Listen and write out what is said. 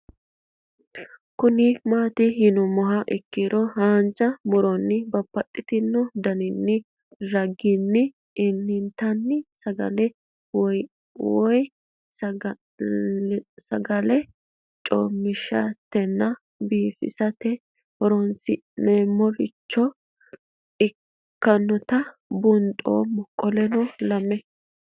Kuni mati yinumoha ikiro hanja muroni babaxino daninina ragini intani sagale woyi sagali comishatenna bifisate horonsine'morich ikinota bunxana qoleno lame